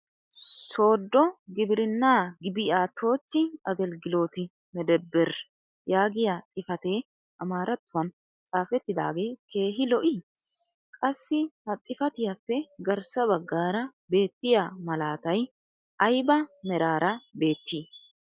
soodo gibirinaa gibi'aatochchi agelgilooti medebir yaagiya xifatee amaaratuwan xaafetaage keehi lo'ii? qassi ha xifattiyaappe garssa bagaara beettiya malaatay ayba meraara beettii?